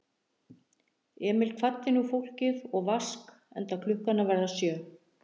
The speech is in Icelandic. Emil kvaddi nú fólkið og Vask, enda klukkan að verða sjö.